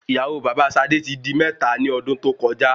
ìyàwó baba sadé ti di mẹ́ta ni ọdún tó koja